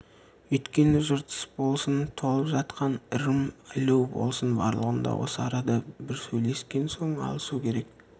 үйткені жыртыс болсын толып жатқан ырым ілу болсын барлығын да осы арада бір сөйлескен соң алысу керек